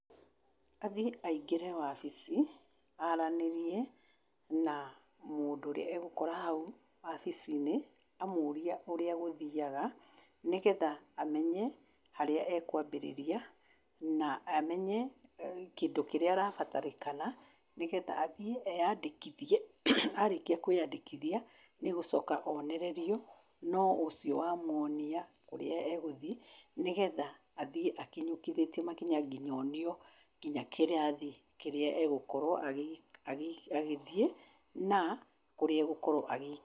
Athiĩ aĩngĩre obici, aranĩrĩe na mũndũ ũrĩa agũkora haũ obici-inĩ, amũurĩe ũrĩa gũthĩaga nĩgetha amenye harĩa akũambĩrĩria na amenye kĩndũ kĩrĩa arabatarĩkana nĩgetha athiĩ eyandĩkĩthĩe, arĩkia kwĩyandĩkĩthia nĩagũcoka onererĩo no ũcĩo wamũonĩa ũrĩa egũthiĩ, nĩgetha athiĩ akĩnyũkĩthetie makinya nginya onĩo nginya kĩrathi kĩrĩa agũkorwo agĩthiĩ na kũrĩa agũkorwo agĩ...